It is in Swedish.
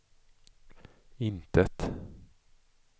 intet